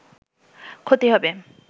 ক্ষতি হবে